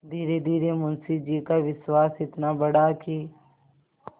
धीरेधीरे मुंशी जी का विश्वास इतना बढ़ा कि